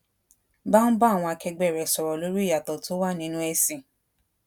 bá ń ba àwọn akegbe re sòrò lori ìyàtò tó wà nínú èsìn